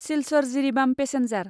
Silchar Jiribam passenger